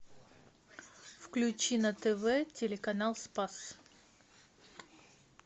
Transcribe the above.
включи на тв телеканал спас